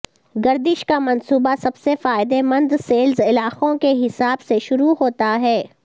گردش کا منصوبہ سب سے فائدہ مند سیلز علاقوں کے حساب سے شروع ہوتا ہے